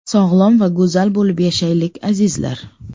Sog‘lom va go‘zal bo‘lib yashaylik, azizlar!